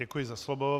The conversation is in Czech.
Děkuji za slovo.